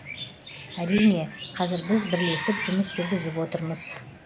әрине қазір біз бірлесіп жұмыс жүргізіп отырмыз